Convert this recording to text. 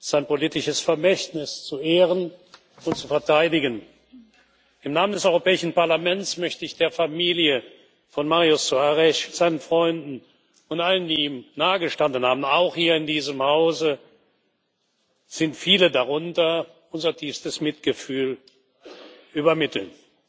sein politisches Vermächtnis zu ehren und zu verteidigen. Im Namen des Europäischen Parlaments möchte ich der Familie von Mário Soares, seinen Freunden und allen, die ihm nahegestanden haben auch hier in diesem Hause sind viele darunter unser tiefstes Mitgefühl übermitteln.